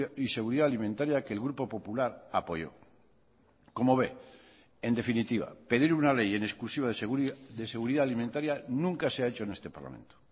y seguridad alimentaria que el grupo popular apoyo como ve en definitiva pedir una ley en exclusiva de seguridad alimentaria nunca se ha hecho en este parlamento